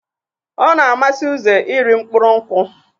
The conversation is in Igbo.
Ọna amasi uze iri mkpụrụ nkwụ.